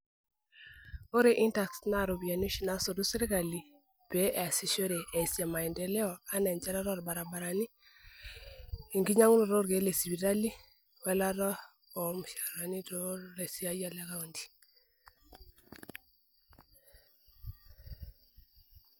Ore itax naa iropiyani oshii naasotu sirkali peesishore eesie maendeleo enaa enshatata orbaribarani, enkinyangunoto oorkiek le sipitali ooelaata ormushaharani too ilaisiayiak le kaunti.